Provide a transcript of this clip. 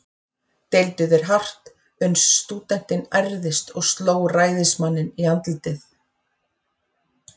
Deildu þeir hart, uns stúdentinn ærðist og sló ræðismanninn í andlitið.